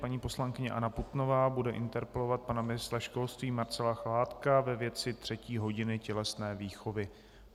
Paní poslankyně Anna Putnová bude interpelovat pana ministra školství Marcela Chládka ve věci třetí hodiny tělesné výchovy.